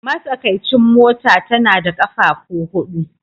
Matsakaicin mota tana da ƙafafu huɗu